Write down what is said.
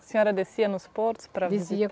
A senhora descia nos portos apra